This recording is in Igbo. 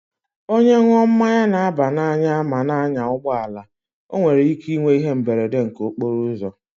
Onye ṅụọ mmanya na-aba n'anya ma na-anya ụgbọala, o nwere ike inwe ihe mberede nke okporo ụzọ.